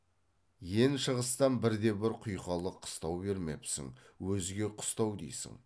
ен шығыстан бірде бір құйқалы қыстау бермепсің өзге қыстау дейсің